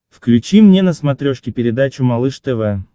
включи мне на смотрешке передачу малыш тв